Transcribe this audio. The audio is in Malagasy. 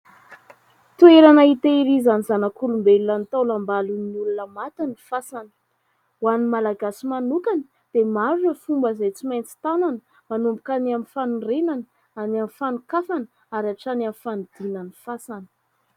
Toerana hitehirizan' ny zanak'olombelona ny taolam-balon'ny olona maty ny fasana ; ho an' ny malagasy manokana dia maro ireo fomba izay tsy maintsy tanana manomboka : any amin' ny fanorenana, any amin' ny fanokafana ary hatrany amin' ny fanidiana ny fasana.